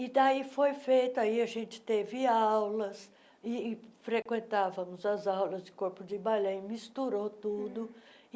E daí foi feito, aí a gente teve aulas e e frequentávamos as aulas de corpo de balé e misturou tudo.